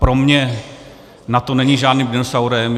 Pro mě NATO není žádným dinosaurem.